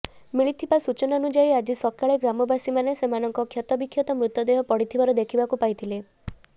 ମିଳିଥିବା ସୂଚନାନୁଯାୟୀ ଆଜି ସକାଳେ ଗ୍ରାମବାସୀମାନେ ସେମାନଙ୍କ କ୍ଷତବିକ୍ଷତ ମୃତଦେହ ପଡିଥିବା ଦେଖିବାକୁ ପାଇଥିଲେ